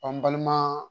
n balima